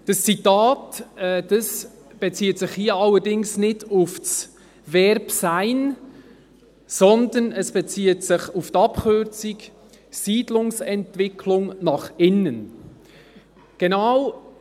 » Dieses Zitat bezieht sich allerdings nicht auf das Verb «sein», sondern auf die Abkürzung für Siedlungsentwicklung nach innen, SEin.